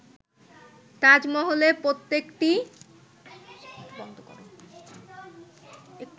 তাজমহলের প্রত্যেকটি